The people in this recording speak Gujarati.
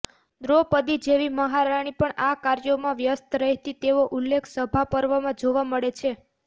દ્રૌપદી જેવી મહારાણી પણ આ કાર્યોમાં વ્યસ્ત રહેતી તેવો ઉલ્લેખ સભાપર્વમાં જોવા મળે છે